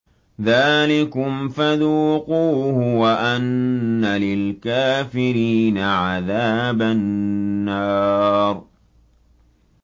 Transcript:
ذَٰلِكُمْ فَذُوقُوهُ وَأَنَّ لِلْكَافِرِينَ عَذَابَ النَّارِ